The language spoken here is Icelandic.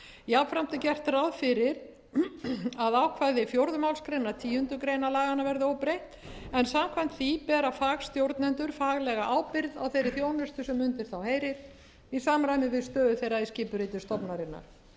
jafnframt er gert ráð fyrir að ákvæði fjórðu málsgreinar tíundu grein laganna verði óbreytt en samkvæmt því bera fagstjórnendur faglega ábyrgð á þeirri þjónustu sem undir þá heyrir í samræmi við stöðu þeirra í skipuriti stofnunarinnar